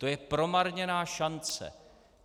To je promarněná šance.